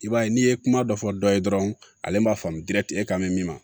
I b'a ye n'i ye kuma dɔ fɔ dɔ ye dɔrɔn ale b'a faamu dirati e kan bɛ min ma